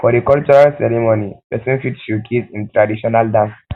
for di cultural di cultural ceremony person fot showcase im traditional dance